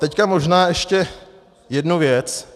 Teď možná ještě jednu věc.